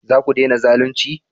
Za ku dena zalunci?